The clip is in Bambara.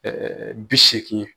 bi seegin ye.